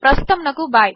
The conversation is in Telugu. ప్రస్తుతమునకు బై